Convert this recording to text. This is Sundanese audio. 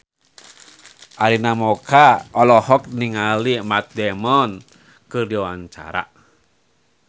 Arina Mocca olohok ningali Matt Damon keur diwawancara